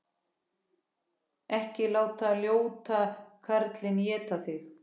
Ekki láta ljóta kallinn éta mig!